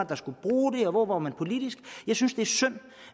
der skulle bruge det og hvor var man politisk jeg synes det er synd